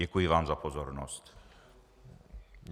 Děkuji vám za pozornost.